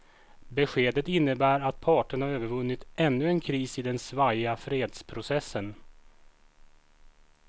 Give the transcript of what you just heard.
Beskedet innebär att parterna övervunnit ännu en kris i den svajiga fredsprocessen.